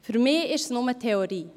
Für mich ist es bloss Theorie.